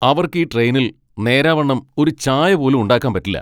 അവർക്ക് ഈ ട്രെയിനിൽ നേരാവണ്ണം ഒരു ചായ പോലും ഉണ്ടാക്കാൻ പറ്റില്ല!